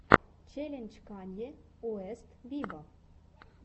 челлендж канье уэст виво